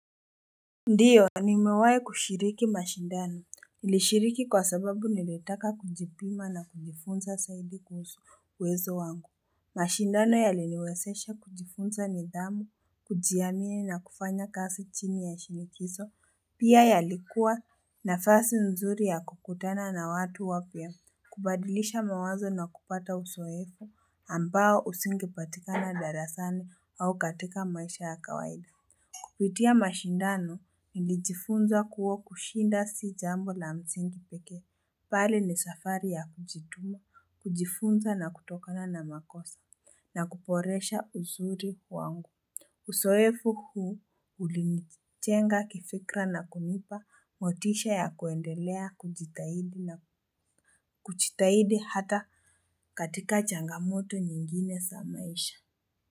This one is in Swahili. Ndio nimewahi kushiriki mashindano nilishiriki kwa sababu nilitaka kujipima na kujifunza zaidi kuhusu uwezo wangu mashindano yaliniwezesha kujifunza nidhamu kujiamini na kufanya kazi chini ya shinikizo pia yalikuwa nafasi nzuri ya kukutana na watu wapya. Kubadilisha mawazo na kupata uzoefo ambao usinge patikana darasani au katika maisha ya kawaida. Kupitia mashindano nilijifunza kuwa kushinda si jambo la msingi pekee bali ni safari ya kujituma kujifunza na kutokana na makosa. Na kuboresha uzuri wangu. Uzoefu huu ulinijenga kifikra na kunipa motisha ya kuendelea kujitahidi hata katika changamoto nyingine za maisha.